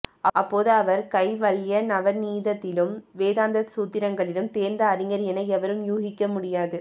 அப்போது அவர் கைவல்யநவநீதத்திலும் வேதாந்தசூத்ரங்களிலும் தேர்ந்த அறிஞர் என எவரும் ஊகிக்கமுடியாது